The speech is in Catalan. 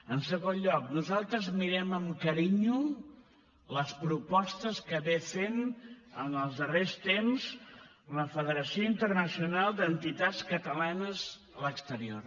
en segon lloc nosaltres mirem amb carinyo les propostes que ha fet en els darrers temps la federació internacional d’entitats catalanes a l’exterior